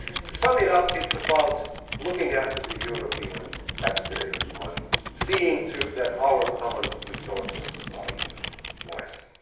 To sum it up, this is about looking after the EU taxpayers' money, seeing too that our common resources are used wisely.